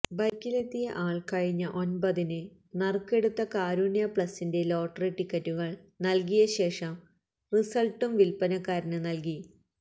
ബൈക്കിലെത്തിയ ആൾ കഴിഞ്ഞ ഒൻപതിന് നറുക്കെടുത്ത കാരുണ്യ പ്ലസിന്റെ ലോട്ടറി ടിക്കറ്റുകൾ നൽകിയ ശേഷം റിസൾട്ടും വിൽപ്പനക്കാരന് നൽകി